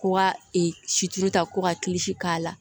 Ko ka ee situ ta ko ka k'a la